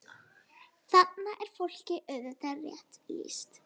Þarna er fólki auðvitað rétt lýst.